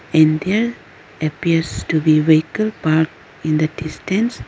in there appears to be vehicle park in the distance.